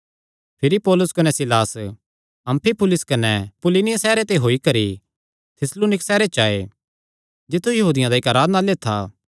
भिरी पौलुस कने सीलास अम्फिपुलिस कने अपुल्लिनिया सैहरे ते होई करी थिस्सलुनीक सैहरे च आये जित्थु यहूदियां दा इक्क आराधनालय था